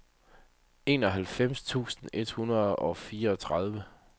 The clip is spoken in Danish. enoghalvfems tusind et hundrede og fireogtredive